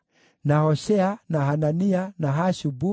na Hoshea, na Hanania, na Hashubu,